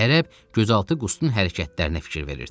Ərəb gözaltı Qustun hərəkətlərinə fikir verirdi.